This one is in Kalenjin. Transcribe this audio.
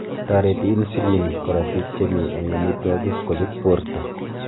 toreti inslin korotik chemi eng amitwogik kochut borta